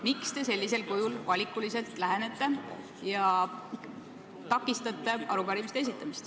Miks te lähenete arupärimistele sedasi valikuliselt ja takistate nende esitamist?